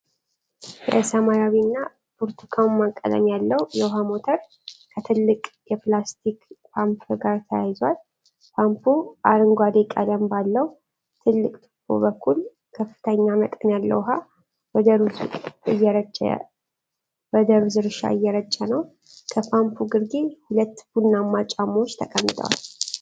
የሰማያዊና ብርቱካናማ ቀለም ያለው የውሃ ሞተር ከትልቅ የፕላስቲክ ፓምፕ ጋር ተያይዟል። ፓምፑ አረንጓዴ ቀለም ባለው ትልቅ ቱቦ በኩል ከፍተኛ መጠን ያለው ውኃ ወደ ሩዝ እርሻ እየረጨ ነው። ከፓምፑ ግርጌ ሁለት ቡናማ ጫማዎች ተቀምጠዋል።